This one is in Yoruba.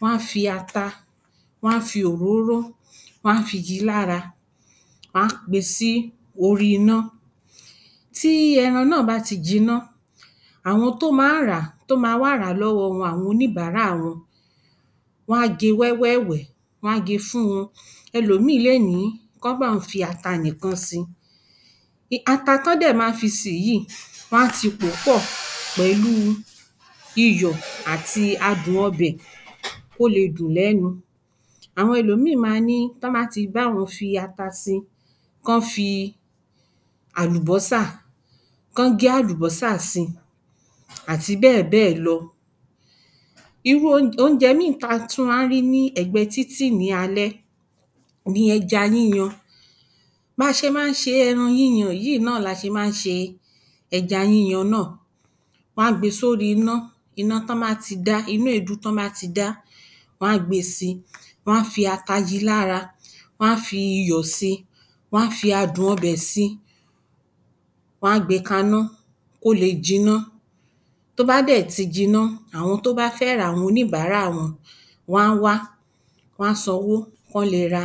wọn á fi ata, wọn á fi òróró, wọn á fi yí i lára, wọn á gbé é sí orí iná. Tí ẹran náà bá ti jinnà, àwọn tó máa ń rà á, tó máa ń rà á lọ́wọ́ wọn, àwọn oníbàárà wọn, wọn á gé e wẹ́wẹ́ fún wọn. Ẹlòmí le ni kí wọ́n bá òun fi ata nìkan sí i. Ata ti wọ́n dẹ́ máa fi sí i yìí, wọn á ti pò ó pọ̀ pẹ̀lú iyọ ati adùn ọbẹ̀ kó lè dùn lẹ́nu. Àwọn Ẹlòmí máa ní tí wọ́n bá ti bá àwọn fi ata sí i, kí wọ́n fi àlùbọ́sà kí wọ́n gé àlùbọ́sà sí í, àti bẹ́ẹ̀bẹ́ẹ̀ lọ. Iru Oúnjẹ mì Oúnjẹ mì tí a tún máa ń rí ní ẹ̀gbẹ́ títì ní alẹ́ ni ẹja yíyan. Bí a ṣe máa ń ṣe ẹran yíyan yi náà la ṣe máa ń ṣe ẹja yíyan náà. Wọn á gbé e sí orí iná iná ti wọn ba ti da iná èédú ti wọn ba ti da, wọn a gbe si, wọn á fi ata yí i lára. Wọn á fi iyọ̀ si wọn á fi adùn ọbẹ̀ si pẹ̀lú wọn a gbe kana ko le jinná tó bá de ti jinná, awọn ti wọn ba fe ra, àwọn oníbàárà wọn, wọn a wa, wọn a sanwo ki wọn le ra